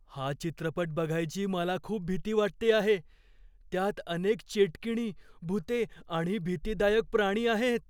हा चित्रपट बघायची मला खूप भीती वाटते आहे. त्यात अनेक चेटकिणी, भुते आणि भीतीदायक प्राणी आहेत.